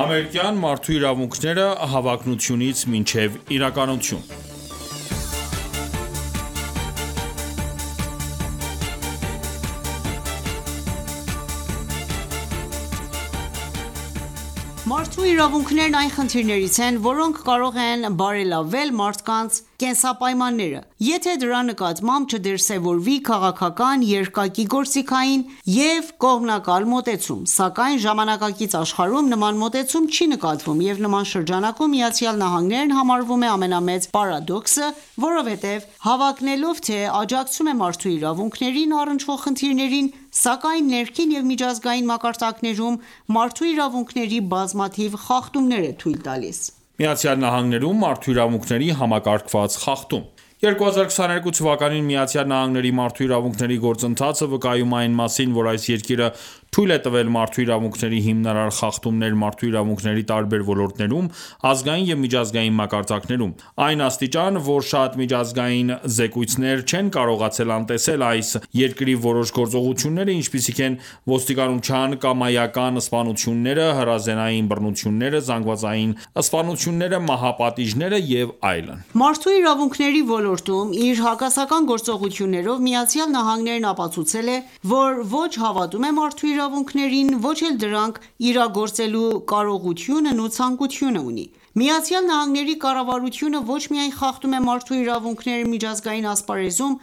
Ամերիկյան մարդու իրավունքները հավակնությունից մինչև իրականություն (1) Մարդու իրավունքներն այն խնդիրներից են, որոնք կարող են բարելավել մարդկանց կենսապայմանները, եթե դրա նկատմամբ չդրսևորվի քաղաքական, երկակի, գործիքային և կողմնակալ մոտեցում, սակայն ժամանակակից աշխարհում նման մոտեցում չի նկատվում, և նման շրջանակում ԱՄՆ-ն համարվում է ամենամեծ պարադոքսը, որովհետև հավակնելով թե՝աջակցում է մարդու իրավունքներին առնչվող խնդիրներին, սակայն ներքին և միջազգային մակարդակներում մարդու իրավունքների բազմաթիվ խախտումներ է թույլ տալիս: Ա) ԱՄՆ-ում մարդու իրավունքների համակարգված խախտում 2022 թվականին Միացյալ Նահանգների մարդու իրավունքների գործընթացը վկայում է այն մասին, որ այս երկիրը թույլ է տվել մարդու իրավունքների հիմնարար խախտումներ մարդու իրավունքների տարբեր ոլորտներում՝ ազգային և միջազգային մակարդակներում։ Այն աստիճան, որ շատ միջազգային զեկույցներ չեն կարողացել անտեսել այս երկրի որոշ գործողությունները, ինչպիսիք են՝ ոստիկանության կամայական սպանությունները, հրազենային բռնությունները, զանգվածային սպանությունները, մահապատիժները և այլն: Մարդու իրավունքների ոլորտում իր հակասական գործողություններով, ԱՄՆ-ն ապացուցել է, որ ոչ հավատում է մարդու իրավունքներին, ոչ էլ դրանք իրագործելու կարողությունն ու ցանկությունը ունի։ ԱՄՆ-ի կառավարությունը ոչ միայն խախտում է մարդու իրավունքները միջազգային ասպարեզում,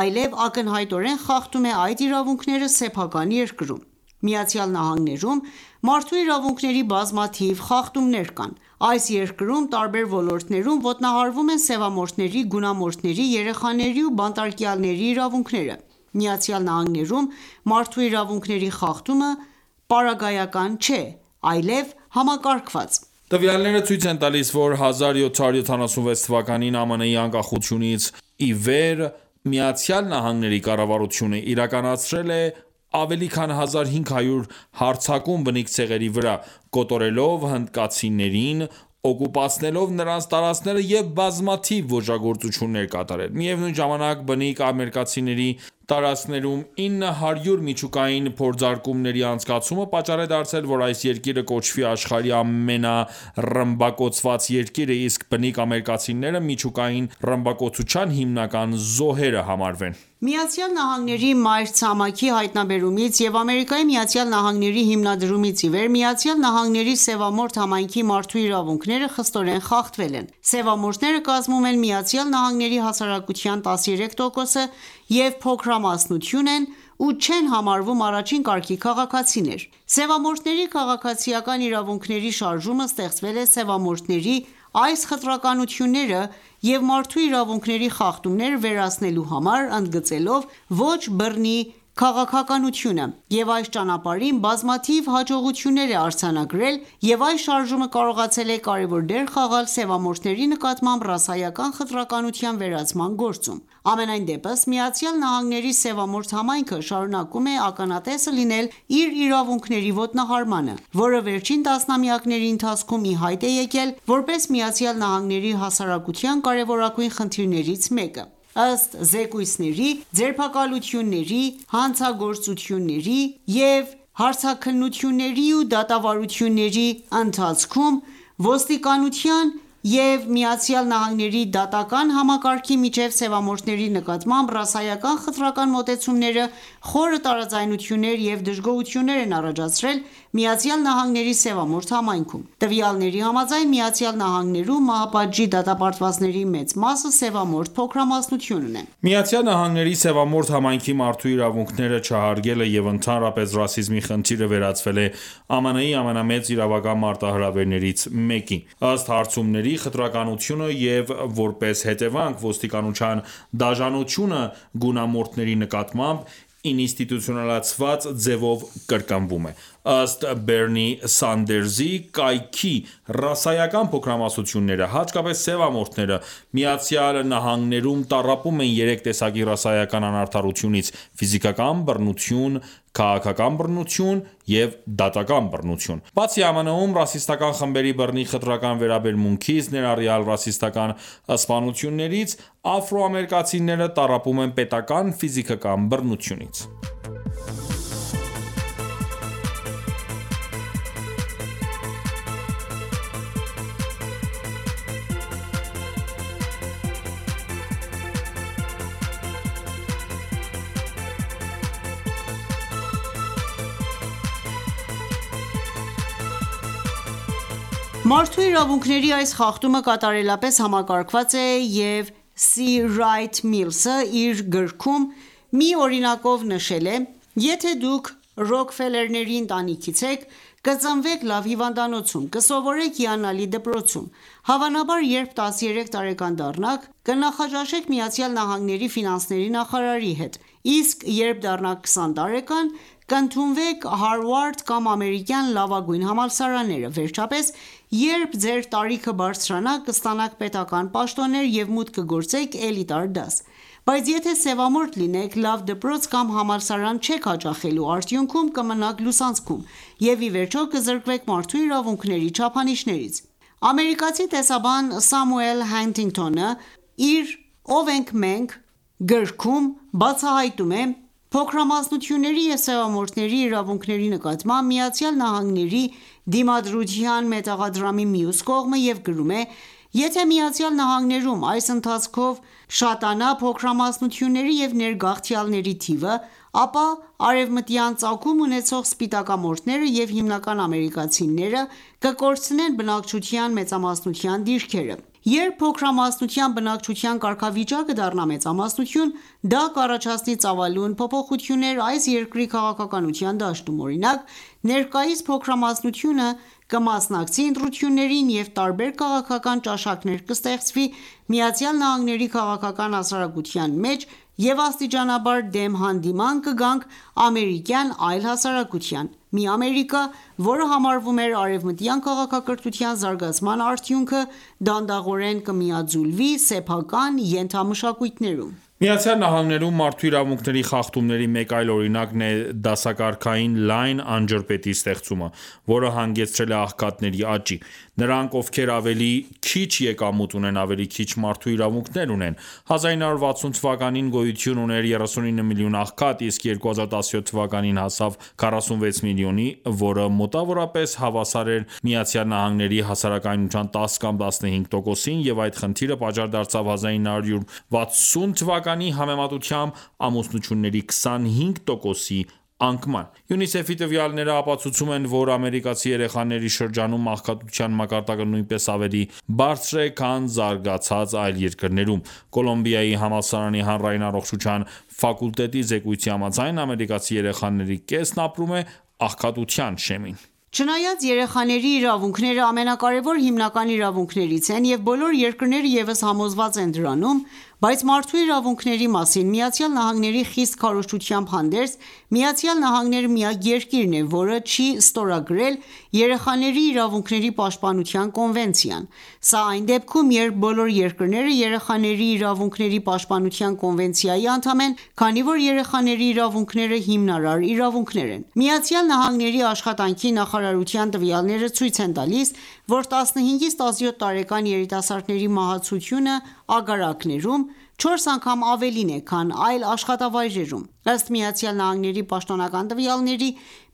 այլեւ ակնհայտորեն խախտում է այդ իրավունքները սեփական երկրում։ ԱՄՆ-ում մարդու իրավունքների բազմաթիվ խախտումներ կան: Այս երկրում տարբեր ոլորտներում ոտնահարվում են սեւամորթների, գունամորթների, երեխաների ու բանտարկյալների իրավունքները։ ԱՄՆ-ում մարդու իրավունքների խախտումը պարագայական չէ ,այլև համակարգված ։ Տվյաալները ցույց են տալիս, որ 1776 թվականին ԱՄՆ-ի անկախացումից ի վեր, ԱՄՆ-ի կառավարությունը իրականացրել է ավելի քան 1500 հարձակում բնիկ ցեղերի վրա՝ կոտորելով հնդկացիներին, օկուպացնելով նրանց տարածքները և բազմաթիվ ոճրագործություններ կատարել։ Միևնույն ժամանակ, բնիկ ամերիկացիների տարածքներում 900 միջուկային փորձարկումների անցկացումը պատճառ է դարձել, որ այս երկիրը կոչվի աշխարհի ամենառմբակոծված երկիրը, իսկ բնիկ ամերիկացիները միջուկային ռմբակոծության հիմնական զոհերը համարվեն: ԱՄՆ-ի մայրցամաքի հայտնաբերումից և Ամերիկայի Միացյալ Նահանգների հիմնադրումից ի վեր, ԱՄՆ-ի սեւամորթ համայնքի մարդու իրավունքները խստորեն խախտվել են: Սևամորթները կազմում են ԱՄՆ-ի հասարակության 13%-ը և փոքրամասնություն են ու չեն համարվում առաջին կարգի քաղաքացիներ։ Սևամորթների քաղաքացիական իրավունքների շարժումը ստեղծվել է սևամորթների այս խտրականությունները և մարդու իրավունքների խախտումները վերացնելու համար՝ ընդգծելով ոչ բռնի քաղաքականությունը, և այս ճանապարհին բազմաթիվ հաջողություններ է արձնագրել և այս շարժումը կարողացել է կարևոր դեր խաղալ սևամորթների նկատմամբ ռասայական խտրականության վերացման գործում։ Համենայն դեպս ԱՄՆ-ի սեւամորթ համայնքը շարունակում է ականատեսը լինել իր իրավունքների ոտնահարմանը, որը վերջին տասնամյակների ընթացքում ի հայտ է եկել, որպես ԱՄՆ-ի հասարակության կարևորագույն խնդիրներից մեկը։ Ըստ զեկույցների, ձերբակալությունների, հարցաքննությունների և դատավարությունների ընթացքում ոստիկանության և ԱՄՆ-ի դատական համակարգի միջև սևամորթների նկատմամբ ռասայական խտրական մոտեցումները խորը տարաձայնություններ և դժգոհություն են առաջացրել ԱՄՆ-ի սևամորթ համայնքում: Տվյալների համաձայն՝ ԱՄՆ-ում մահապատժի դատապարտվածների մեծ մասը սևամորթ փոքրամասնությունն է։ ԱՄՆ-ի սևամորթ համայնքի մարդու իրավունքները չհարգելը և ընդհանրապես ռասիզմի խնդիրը վերածվել է ԱՄՆ-ի ամենամեծ իրավական մարտահրավերներից մեկի: Ըստ հարցումների՝ խտրականությունը և, որպես հետևանք, ոստիկանության դաժանությունը գունամորթերի նկատմամբ ինստիտուցիոնալացված ձևով կրկնվում է։ Ըստ Բեռնի Սանդերսի կայքի՝ ռասայական փոքրամասնությունները, հատկապես սևամորթները, ԱՄՆ-ում տառապում են երեք տեսակի ռասայական անարդարությունից՝Ֆիզիկական բռնություն, քաղաքական բռնություն և դատական բռնություն:Բացի ԱՄՆ-ում, ռասիստական խմբերի բռնի խտրական վերաբերմունքից, ներառյալ ռասիստական սպանություններից, աֆրոամերիկացիները տառապում են պետական ֆիզիկական բռնությունից: Մարդու իրավունքների այս խախտումը կատարելապես համակարգված է և «Սի Ռայթ Միլսը» իր գրքում մի օրինակով նշել է«՝Եթե դուք Ռոքֆելլերների ընտանիքից եք, կծնվեք լավ հիվանդանոցում, կսովորեք հիանալի դպրոցում, հավանաբար, երբ 13 տարեկան դառնաք, կնախաճաշեք ԱՄՆ ֆինանսների նախարարի հետ, իսկ երբ դառնաք 20 տարեկան, կընդունվեք Հարվարդ կամ ամերիկյան լավագույն համալսարանները։ Վերջապես, երբ Ձեր տարիքը բարձրանա կստանաք պետական պաշտոններ և մուտք կգործեք էլիտար դաս: Բայց եթե սևամորթ լինեք, լավ դպրոց կամ համալսարան չեք հաճախելու, արդյունքում կմնաք լուսանցքում, և ի վերջո կզրկվեք մարդու իրավունքների չափանիշներից»։ Ամերիկացի տեսաբան Սամուել Հանթինգթոնը, իր «Ով ենք մենք» գրքումբացահայտում է՝ փոքրամասնությունների և սևամորթների իրավունքների նկատմամբ ԱՄՆ-ի դիմադրության մետաղադրամի մյուս կողմը և գրում է.« Եթե ԱՄՆ-ում ,այս ընթացքով շատանա փոքրամասնությունների և ներգաղթյալների թիվը, ապա արևմտյան ծագում ունեցող սպիտակամորթները և հիմնական ամերիկացիները կկորցնեն բնակչության մեծամասնության դիրքերը։ Երբ փոքրամասնության բնակչության կարգավիճակը դառնա մեծամասնություն, դա կառաջացնի ծավալուն փոփոխություններ այս երկրի քաղաքականության դաշտում։ Օրինակ, ներկայիս փոքրամասնությունը կմասնակցի ընտրություններին և տարբեր քաղաքական ճաշակներ կստեղծվի ԱՄՆ-ի քաղաքական հասարակության մեջ և աստիճանաբար դեմ հանդիման կգանք ամերիկյան այլ հասարակության։ Մի Ամերիկա, որը համարվում էր արեւմտյան քաղաքակրթության զարգացման արդյունքը, դանդաղորեն կմիաձուլվի սեփական ենթամշակույթներում։ ԱՄՆ-ում մարդու իրավունքների խախտումների մեկ այլ օրինակն է՝դասակարգային լայն անջրպետի ստեղծումը, որը հանգեցրել է աղքատների աճին։ Նրանք, ովքեր ավելի քիչ եկամուտ ունեն, ավելի քիչ մարդու իրավունքներ ունեն: 1960 թվականին գոյություն ուներ 39 միլիոն աղքատ, իսկ 2017 թվականին հասավ 46 միլիոնի, որը մոտավորապես հավասար էր ԱՄՆ-ի հասարակության 10 կամ 15 տոկոսին ,և այդ խնդիրը պատճառ դարձավ 1960 թվականի համեմատությամբ ամուսնությունների 25 տոկոսի անկման: ՅՈՒՆԻՍԵՖ-ի տվյալները ապացուցում են, որ ամերիկացի երեխաների շրջանում աղքատության մակարդակը նույնպես ավելի բարձր է, քան զարգացած այլ երկրներում: Կոլումբիայի համալսարանի հանրային առողջության ֆակուլտետի զեկույցի համաձայն, ամերիկացի երեխաների կեսն ապրում է աղքատության շեմին: Չնայած երեխաների իրավունքները ամենակարևոր հիմնական իրավունքներից են և բոլոր երկրները ևս համոզված են դրանում, բայց մարդու իրավունքների մասին ԱՄՆ-ի խիստ քարոզչությամբ հանդերձ, Միացյալ Նահանգները միակ երկիրն է, որը չի ստորագրել երեխաների իրավունքների պաշտպանության կոնվենցիան։ Սա այն դեպքում, երբ բոլոր երկրները Երեխաների իրավունքների պաշտպանության կոնվենցիայի անդամ են, քանի որ երեխաների իրավունքները հիմնարար իրավունք են։ ԱՄՆ Աշխատանքի նախարարության տվյալները ցույց են տալիս, որ 15-ից 17 տարեկան երիտասարդների մահացությունը ագարակներում չորս անգամ ավելին է, քան այլ աշխատավայրերում: Ըստ ԱՄՆ-ի պաշտոնական տվյալների՝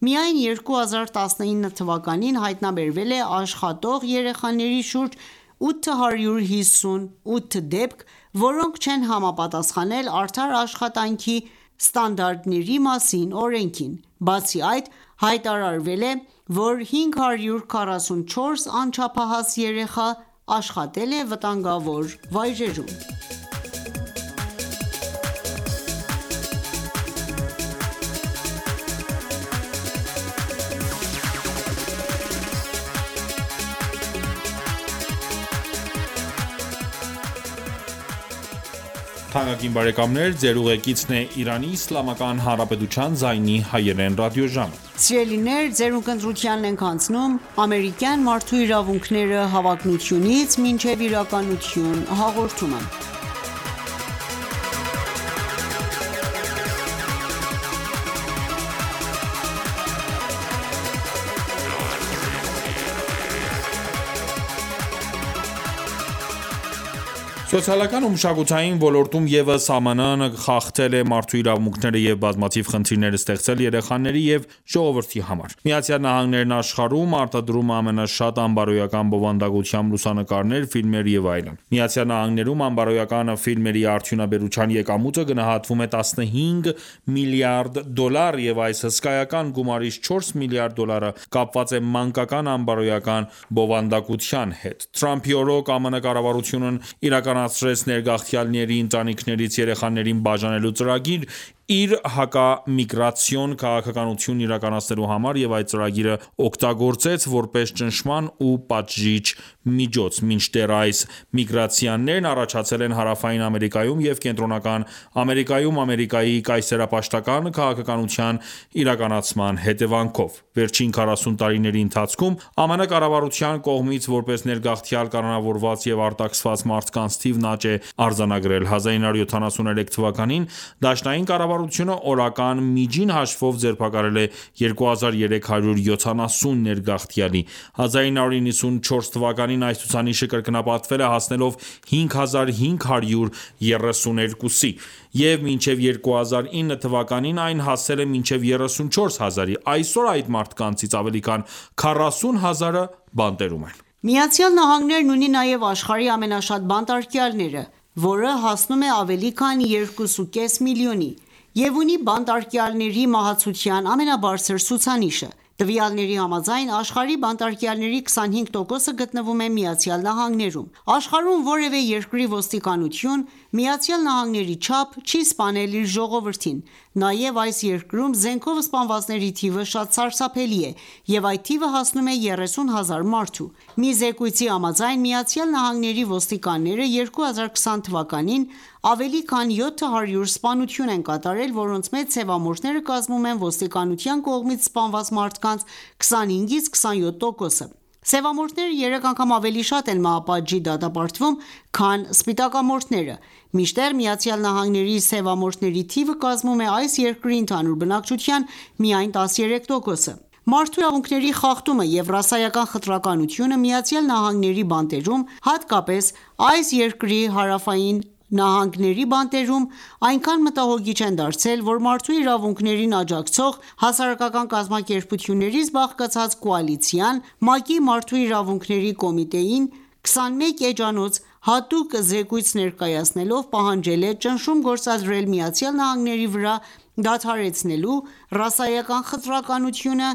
միայն 2019 թվականին հայտնաբերվել է աշխատող երեխաների շուրջ 858 դեպք, որոնք չեն համապատասխանել Արդար աշխատանքի ստանդարտների մասին օրենքին: Բացի այդ, հայտարարվել է, որ 544 անչափահաս երեխա աշխատել է վտանգավոր վայրերում: Սոցիալական ու մշակութային ոլորտում ևս ԱՄՆ-ն խախտել է մարդու իրավունքները և բազմաթիվ խնդիրներ ստեղծել երեխաների և ժողովրդի համար: ԱՄՆ-ն աշխարհում արտադրում է ամենաշատ անբարոյական բովանդակությամբ լուսանկարներ, ֆիլմեր և այլն: ԱՄՆ-ում անբարոյական ֆիլմերի արդյունաբերության եկամուտը գնահատվում է 15 միլիարդ դոլար, և այս հսկայական գումարից չորս միլիարդ դոլարը կապված է մանկական անբարոյական բովանդակության հետ: Թրամփի օրոք ԱՄՆ կառավարությունն իրականացրեց ներգաղթյալների ընտանիքներից երեխաներին բաժանելու ծրագիր՝ իր հակամիգրացիոն քաղաքականությունն իրականացնելու համար և այդ ծրագիրը օգտագործեց, որպես ճնշման ու պատժիչ միջոց։ Մինչդեռ այս միգրացիաներն առաջացել են Հարավային Ամերիկայում և Կենտրոնական Ամերիկայում, Ամերիկայի կայսերապաշտական քաղաքականության իրականացման հետևանքով։ Վերջին 40 տարիների ընթացքում ԱՄՆ կառավարության կողմից որպես ներգաղթյալ կալանավորված և արտաքսված մարդկանց թիվն աճ է արձանագրել։ 1973 թվականին դաշնային կառավարությունը օրական միջին հաշվով ձերբակալել է 2370 ներգաղթյալի ։ 1994 թվականին այս ցուցանիշը կրկնապատկվել է՝ հասնելով 5532 -ի և մինչև 2009 թվականին այն հասել է մինչեւ 34 հազարի: Այսօր այդ մարդկանցից ավելի քան 40,000-ը բանտերում են: ԱՄՆ-ն ունի նաև աշխարհի ամենաշատ բանտարկյալները, որը հասնում է ավելի քան 2.5 միլիոնի և ունի բանտարկյալների մահացության ամենաբարձր ցուցանիշը։ Տվյալների համաձայն՝ աշխարհի բանտարկյալների 25%-ը գտնվում է ԱՄՆ-ում:Աշխարհում որևէ երկրի ոստիկանություն ԱՄՆ-ի չափ չի սպանել իր ժողովրդին, նաև այս երկրում զենքով սպանվածների թիվը շատ սարսափելի է և այդ թիվը հասնում է 30 հազար մարդու։ Մի զեկույցի համաձայն, ԱՄՆ-ի ոստիկանները 2020 թվականին ավելի քան 700 սպանություն են կատարել, որոնց մեջ սևամորթները կազմում են ոստիկանության կողմից սպանված մարդկանց 25-ից 27 տոկոսը։ Սևամորթները երեք անգամ ավելի շատ են մահապատժի դատապարտվում, քան սպիտակամորթները: Մինչդեռ, ԱՄՆ-ի սևամորթների թիվը կազմում է այս երկրի ընդհանուր բնակչության միայն 13%-ը։ Մարդու իրավունքների խախտումը և ռասայական խտրականությունը Միացյալ Նահանգների բանտերում, հատկապես այս երկրի հարավային նահանգների բանտերում, այնքան մտահոգիչ են դարձել, որ մարդու իրավունքներին աջակցող հասարակական կազմակերպություններից բաղկացած կոալիցիան, ՄԱԿ-ի Մարդու իրավունքների կոմիտեին 21 էջանոց հատուկ զեկույց ներկայացնելով, պահանջել է ճնշում գործադրել Միացյալ Նահանգների վրա՝ դադարեցնելու ռասայական խտրականությունը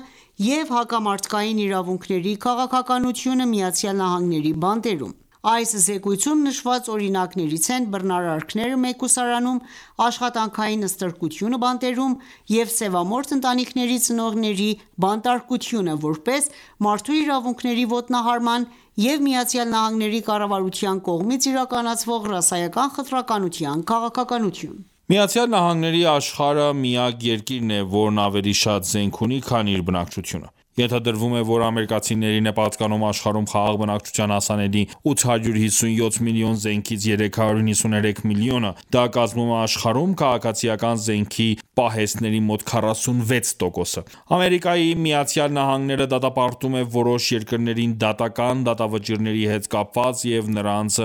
և հակամարդկային իրավունքների քաղաքականությունը ԱՄՆ-ի բանտերում: Այս զեկույցում, նշված օրինակներից են՝բռնարարքները մեկուսարանում, աշխատանքային ստրկությունը բանտերում և սևամորթ ընտանիքների ծնողների բանտարկությունը, որպես մարդու իրավունքների ոտնահարման և ԱՄՆ-ի կառավարության կողմից իրականացվող ռասայական խտրականության քաղաքականություն: ԱՄՆ-ն, աշխարհի միակ երկիրն է, որն ավելի շատ զենք ունի, քան իր բնակչությունը: Ենթադրվում է, որ ամերիկացիներին է պատկանում աշխարհում խաղաղ բնակչությանը հասանելի 857 միլիոն զենքից 393 միլիոնը, դա կազմում է աշխարհում քաղաքացիական զենքի պահեստների մոտ 46%-ը։ Ամերիկայի Միացյալ Նահանգները դատապարտում է որոշ երկրներին՝ դատական դատավճիռների հետ կապված և դրանց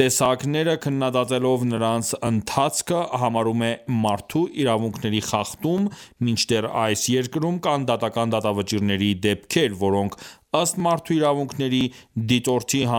տեսակները քննադատելով նրանց ընթացքը համարում է մարդու իրավունքների խախտում, մինչդեռ այս երկրում կան դատական դատավճիռների դեպքեր, որոնք, ըստ «Մարդու իրավունքերի դիտորդի», համարվում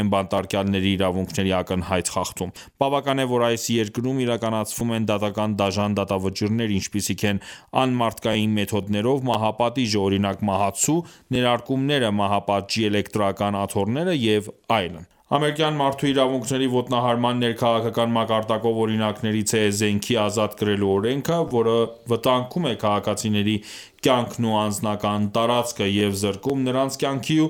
են բանտարկյալների իրավունքների ակնհայտ խախտում։ Բավական է, որ այս երկրում իրականացվում են դատական դաժան դատավճիռներ, ինչպիսիք են՝ անմարդկային մեթոդներով մահապատիժը, օրինակ՝ մահացու ներարկումները, մահապատժի էլեկտրական աթոռները և այլն։ «Ամերիկյան մարդու իրավունքների ոտնահարման ներքաղաքական մակարդակով» օրինակներից է զենքի ազատ կրելու օրենքը, որը վտանգում է քաղաքացիների կյանքն ու անձնական տարածքը եւ զրկում նրանց կյանքի ու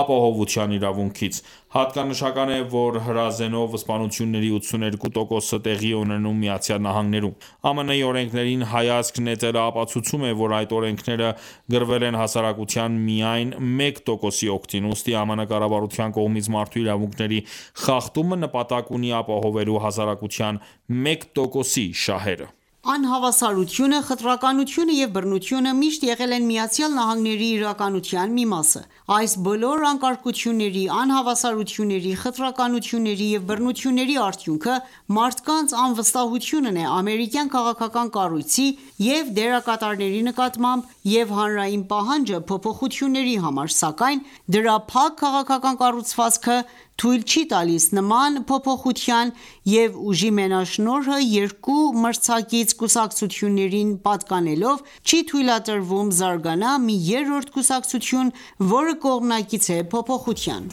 ապահովության իրավունքից: Հատկանշական է որ, հրազենով սպանությունների 82%-ը տեղի է ունենում ԱՄՆ-ում: ԱՄՆ-ի օրենքներին հայացք նետելը ապացուցում է, որ այդ օրենքները գրվել են հասարակության միայն մեկ տոկոսի օգտին: Ուստի ԱՄՆ կառավարության կողմից մարդու իրավունքների խախտումը նպատակ ունի ապահովելու հասարակության մեկ տոկոսի շահերը։ Անհավասարությունը, խտրականությունը և բռնությունը միշտ եղել են ԱՄՆ-ի իրականության մի մասը: Այս բոլոր անկարգությունների, անհավասարությունների, խտրականությունների և բռնությունների արդյունքը մարդկանց անվստահությունն է ամերիկյան քաղաքական կառույցի և դերակատարների նկատմամբ և հանրային պահանջը փոփոխությունների համար, սակայն դրա փակ քաղաքական կառուցվածքը թույլ չի տալիս նման փոփոխության և ուժի մենաշնորհը երկու մրցակից կուսակցություններին պատկանելով, չի թույլատրվում զարգանա մի երրորդ կուսակցություն, որը կողմնակից է փոփոխության: